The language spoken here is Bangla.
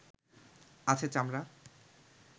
আছে চামড়া